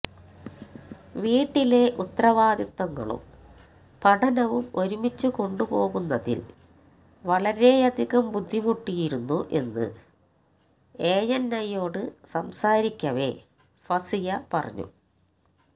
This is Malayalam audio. വീട്ടിലെ ഉത്തരവാദിത്വങ്ങളും പഠനവും ഒരുമിച്ച് കൊണ്ടുപോകുന്നതിൽ വളരെയധികം ബുദ്ധിമുട്ടിയിരുന്നു എന്ന് എഎൻഐയോട് സംസാരിക്കവേ ഫസിയ പറഞ്ഞു